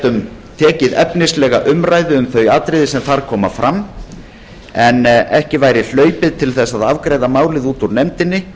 gætum tekið efnislega umræðu um þau atriði sem þar koma fram en ekki væri hlaupið til þess að afgreiða málið út úr nefndinni